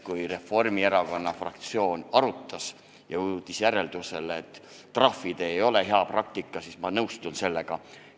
Kui Reformierakonna fraktsioon arutas ja jõudis järeldusele, et trahvid ei ole hea praktika, siis ma nõustun sellega.